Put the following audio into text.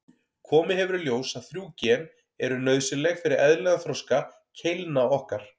Komið hefur í ljós að þrjú gen eru nauðsynleg fyrir eðlilegan þroska keilna okkar.